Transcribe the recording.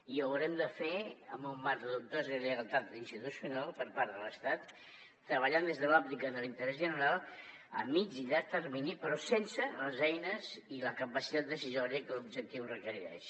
i ho haurem de fer en un mar de dubtosa lleialtat institucional per part de l’estat treballant des de l’òptica de l’interès general a mitjà i llarg termini però sense les eines i la capacitat decisòria que l’objectiu requereix